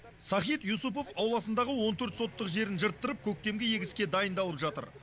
сахид юсупов ауласындағы он төрт соттық жерін жырттырып көктемгі егіске дайындалып жатыр